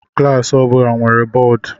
Klaasị ọbụla nwere bọọdụ.